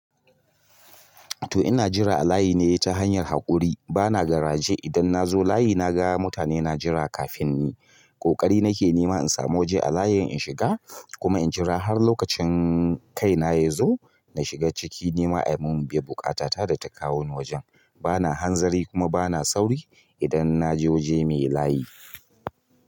To ina jira a layi ne ta hanyar haƙuri. Bana garaje. Idan na zo layi na ga mutane na jira kafin ni. Ƙoƙari nake nema in samu waje a layin in shiga kuma in jira har lokacin kai na ya zo. Nashiga ciki nima a biyan buƙata ta da ta kawoni wajen bana hanzari kuma bana sauri idan naje waje mai layi.